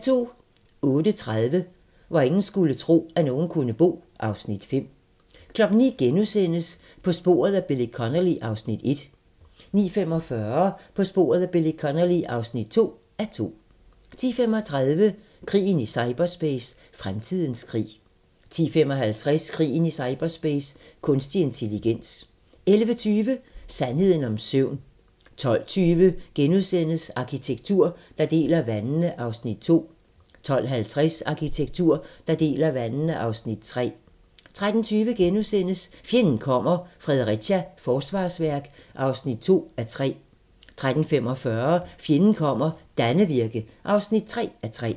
08:30: Hvor ingen skulle tro, at nogen kunne bo (Afs. 5) 09:00: På sporet af Billy Connolly (1:2)* 09:45: På sporet af Billy Connolly (2:2) 10:35: Krigen i cyberspace – fremtidens krig 10:55: Krigen i cyberspace – kunstig intelligens 11:20: Sandheden om søvn 12:20: Arkitektur, der deler vandene (Afs. 2)* 12:50: Arkitektur, der deler vandene (Afs. 3) 13:20: Fjenden kommer - Fredericia forsvarsværk (2:3)* 13:45: Fjenden kommer - Dannevirke (3:3)